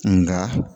Nka